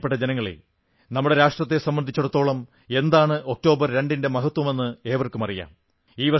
പ്രിയപ്പെട്ട ജനങ്ങളേ നമ്മുടെ രാഷ്ട്രത്തെ സംബന്ധിച്ചിടത്തോളം എന്താണ് ഒക്ടോബർ 2 ന്റെ മഹത്വമെന്ന് ഏവർക്കുമറിയാം